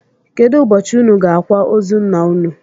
Kedụ ụbọchị ụnụ ga-akwa ozu ńnà ụnụ?